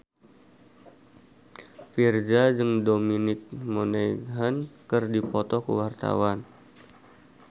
Virzha jeung Dominic Monaghan keur dipoto ku wartawan